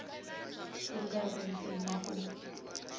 ku nga ri ntsena ku